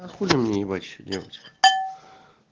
ахули мне ебать ещё делать